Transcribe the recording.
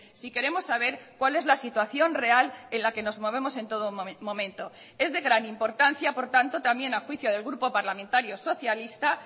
si queremos saber cual es la situación real en la que nos movemos en todo momento es de gran importancia por tanto también a juicio del grupo parlamentario socialista